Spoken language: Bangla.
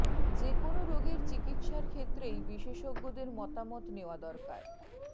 যে কোনও রোগের চিকিৎসার ক্ষেত্রেই বিশেষজ্ঞদের মতামত নেওয়া দরকার